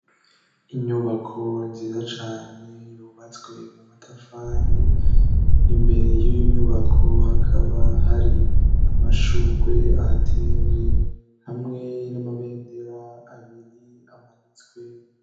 Inyubako nziza cane yubatswe mu matafari, imbere y'iyo nyubako hakaba hari amashugwe ahateye hamwe n'amabendera abiri amanitswe.